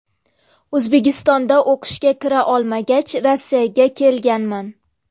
O‘zbekistonda o‘qishga kira olmagach Rossiyaga kelganman.